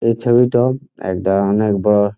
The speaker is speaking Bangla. এই ছবিটো এক দরণের বাঁ--